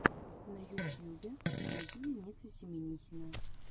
на ютьюбе найти дениса семинихина